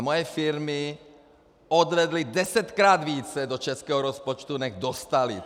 A moje firmy odvedly desetkrát více do českého rozpočtu, než dostaly.